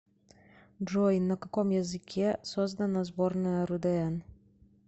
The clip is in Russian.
джой на каком языке создано сборная рудн